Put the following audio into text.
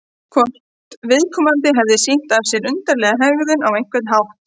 Hvort viðkomandi hefði sýnt af sér undarlega hegðun á einhvern hátt?